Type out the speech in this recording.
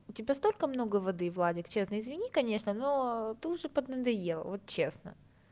у тебя столько много воды владик честно извини конечно но ты уже поднадоел вот честно